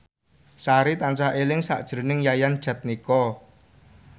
Sari tansah eling sakjroning Yayan Jatnika